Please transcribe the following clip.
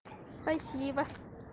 спасибо